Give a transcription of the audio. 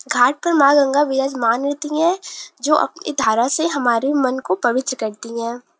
घाट पर माँ लिंगा विराजमान होती हैं जो अपनी धारा से हमारे मन को पवित्र करती हैं